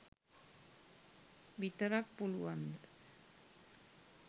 විතරක් පුළුවන්ද?